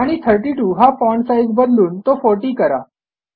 आणि 32 हा font size बदलून तो 40 करा